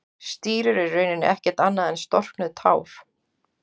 Stírur eru í rauninni ekkert annað en storknuð tár.